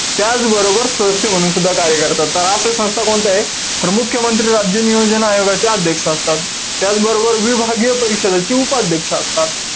त्याचबरोबर, सदस्य म्हणून सुद्धा कार्य करतात. तर अशा संस्था कोणत्यायेत? तर मुख्यमंत्री राज्य नियोजन आयोगाचे अध्यक्ष असतात. त्याचबरोबर, विभागीय परिषदेचे उपाध्यक्ष असतात.